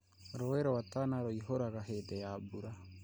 Rũũi rwa Tana rũiyũraga hĩndĩ ya mbura